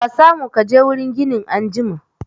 Ka samu kaje wurin ginin anjima